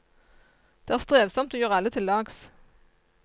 Det er strevsomt å gjøre alle til lags.